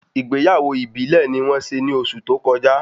Ìgbéyàwó ìbílè ni wón se ni oṣù tó kọjá